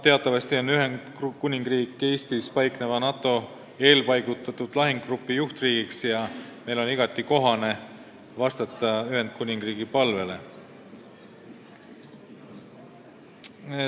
Teatavasti on Ühendkuningriik Eestis paikneva NATO eelpaigutatud lahingugrupi juhtriik ja meil on igati kohane vastata Ühendkuningriigi palvele.